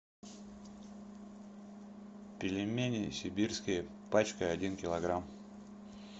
пельмени сибирские пачка один килограмм